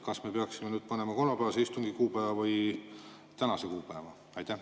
Kas me peaksime panema kolmapäevase istungi kuupäeva või tänase kuupäeva?